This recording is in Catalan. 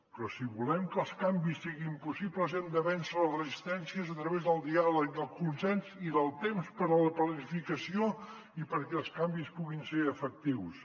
però si volem que els canvis siguin possibles hem de vèncer les resistències a través del diàleg del consens i del temps per a la planificació i perquè els canvis puguin ser efectius